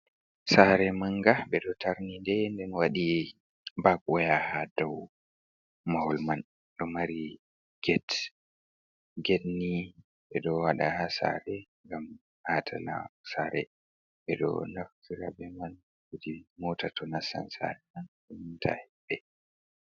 Saare manga, ɓe ɗo tarni nde nden waɗi bak-woya ha dow mahol man, ɗo mari get. Get ni ɓe ɗo waɗa ha saare ngam aatana saare, ɓe ɗo naftira be man kuje moota to nastan saare man ta hiɓɓe.